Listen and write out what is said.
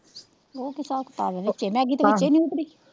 Maggi ਤਾਂ ਵਿੱਚਏ ਨੀ ਉੱਤਰੀ,